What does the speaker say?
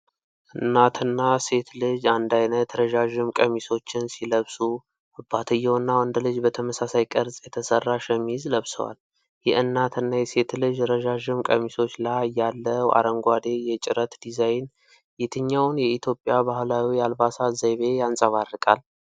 እናትና ሴት ልጅ አንድ አይነት ረዣዥም ቀሚሶችን ሲለብሱ፣ አባትየውና ወንድ ልጅ በተመሳሳይ ቅርፅ የተሰራ ሸሚዝ ለብሰዋል። የእናትና የሴት ልጅ ረዣዥም ቀሚሶች ላይ ያለው አረንጓዴ የጭረት ዲዛይን የትኛውን የኢትዮጵያ ባህላዊ አልባሳት ዘይቤ ያንጸባርቃል?